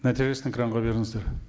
нәтижесін экранға беріңіздер